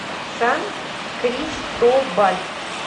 сан кристобаль